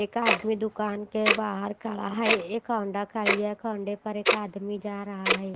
एक आदमी दुकान के बाहर खड़ा है एक होंडा खड़ी है होंडा पर एक आदमी जा रहा है।